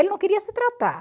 Ele não queria se tratar.